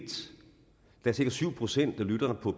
der er cirka syv procent af lytterne på